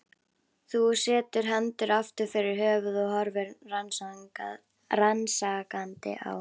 Hún setur hendur aftur fyrir höfuð og horfir rannsakandi á